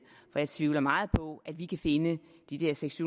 for jeg tvivler meget på at vi kan finde de der seks